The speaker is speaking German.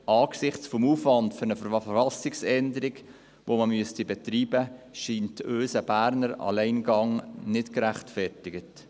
Angesichts des Aufwands, den man für eine Verfassungsänderung betreiben müsste, scheint uns ein Berner Alleingang nicht gerechtfertigt.